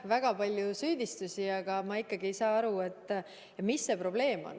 Väga palju süüdistusi, aga ma ikkagi ei saa aru, mis see probleem on.